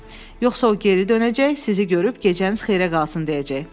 Yoxsa o geri dönəcək, sizi görüb gecəniz xeyrə qalsın deyəcək.